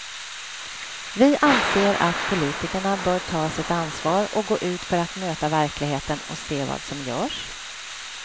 Vi anser att politikerna bör ta sitt ansvar och gå ut för att möta verkligheten och se vad som görs.